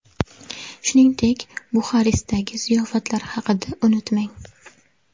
Shuningdek, Buxarestdagi ziyofatlar haqida unutmang.